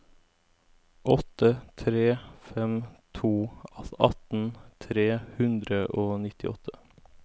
åtte tre fem to atten tre hundre og nittiåtte